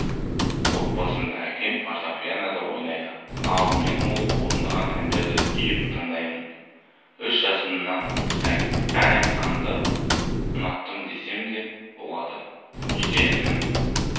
отбасында әкем фортепианода ойнайды ал мен ол орындаған әндерді ұйып тыңдаймын үш жасымнан ән айтқанды ұнаттым десем де болады үйде інім